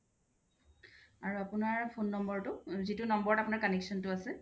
আৰু আপুনাৰ phone number টো যিতুট number ত আপুনাৰ connection টো আছে